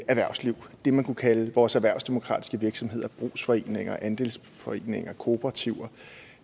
erhvervsliv det man kunne kalde vores erhvervsdemokratiske virksomheder brugsforeninger andelsforeninger kooperativer